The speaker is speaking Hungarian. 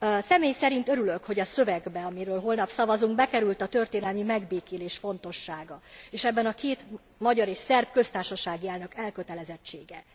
Személy szerint örülök, hogy a szövegbe amiről holnap szavazunk bekerült a történelmi megbékélés fontossága, és ebben a két, magyar és szerb köztársasági elnök elkötelezettsége.